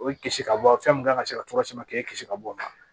O ye kisi ka bɔ a mun kan ka se ka tɔnɔ caman k'o kisi ka bɔ a la